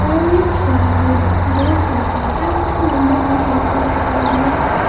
Orange cargo dot in helpline number भी इन्होंने अपना दिया है।